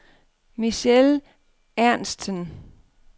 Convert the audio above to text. Michele Ernstsen